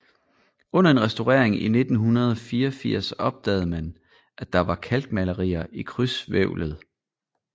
Under en restaurering i 1984 opdagede man at der var kalkmalerier i krydshvævlet